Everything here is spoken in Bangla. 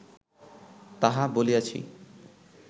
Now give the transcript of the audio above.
তাহা বলিয়াছি